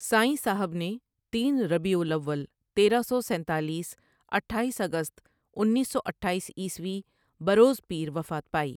سائیں صاحب نے تین ربيع الأول تیرہ سو سینتالیس اٹھایس اگست انیس سو اٹھایس عٖیسوی بروز پیر وفات پائی۔